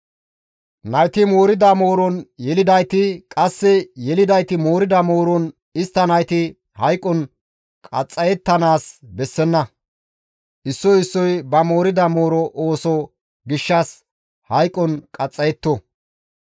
Nayti moorida mooron yelidayti, qasse yelidayti moorida mooron istta nayti hayqon qaxxayettanaas bessenna; issoy issoy ba moorida mooroza gishshas hayqon qaxxayetto.